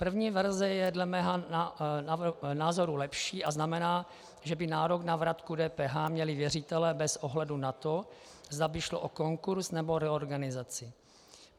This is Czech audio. První verze je dle mého názoru lepší a znamená, že by nárok na vratku DPH měli věřitelé bez ohledu na to, zda by šlo o konkurz, nebo reorganizaci.